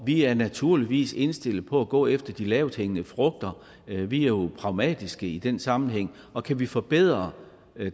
vi er naturligvis indstillet på at gå efter de lavthængende frugter vi er jo pragmatiske i den sammenhæng og kan vi forbedre